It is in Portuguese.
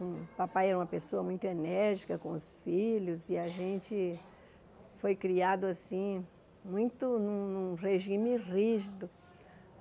O papai era uma pessoa muito enérgica com os filhos e a gente foi criado assim, muito num regime rígido.